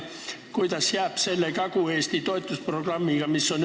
Ja kuidas jääb Kagu-Eesti toetusprogrammiga?